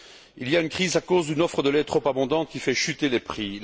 Il y a une crise à cause d'une offre de lait trop abondante qui fait chuter les prix.